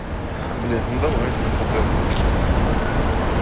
блин ну давай показывай что у тебя там